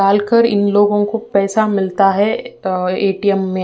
डालकर इन लोगो को पैसा मिलता है ए टी एम में।